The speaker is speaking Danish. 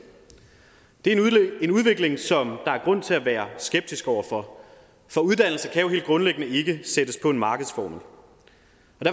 det er en udvikling som der er grund til at være skeptisk over for for uddannelse kan jo helt grundlæggende ikke sættes på en markedsformel